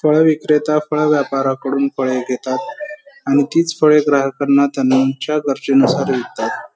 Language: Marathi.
फळ विक्रेता फळ व्यापाऱ्याकडून फळे घेतात आणि तीच फळे ग्राहकांना त्यांच्या गरजे नुसार विकतात.